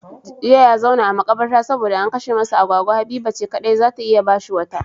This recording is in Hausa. Jiya ya zauna a makabarta saboda an kashe masa agwagwa, Habiba ce kadai zata iya bashi wata